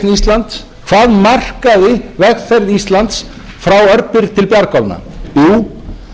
íslands hvaða markaði vegferð íslands frá örbirgð til bjargálna jú það var þegar markaðir opnuðust fyrir íslenskar afurðir í